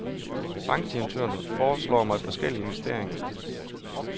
Bankdirektøren foreslår mig forskellige investeringer.